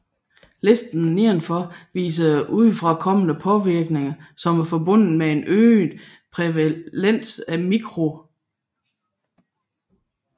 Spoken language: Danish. Listen nedenfor viser udefrakommende påvirkninger som er forbundet med en øget prævalens af mikrocephali